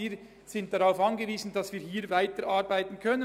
Wir sind darauf angewiesen, dass wir hier weiterarbeiten können.